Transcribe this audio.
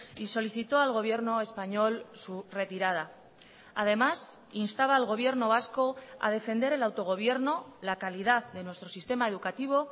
y solicitó al gobierno español su retirada además instaba al gobierno vasco a defender el autogobierno la calidad de nuestro sistema educativo